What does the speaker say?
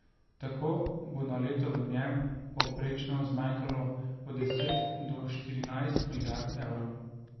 Tako bo na leto v njem povprečno zmanjkalo od deset do štirinajst milijard evrov.